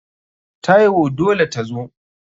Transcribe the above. Taiwo dole tazo.